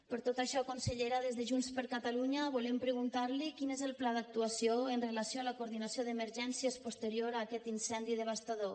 per tot això consellera des de junts per catalunya volem preguntar li quin és el pla d’actuació amb relació a la coordinació d’emergències posterior a aquest incendi devastador